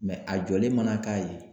a jɔlen mana k'a ye.